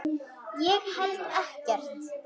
Ég held ekkert.